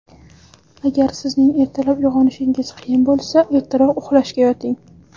Agar sizning ertalab uyg‘onishingiz qiyin bo‘lsa, ertaroq uxlashga yoting.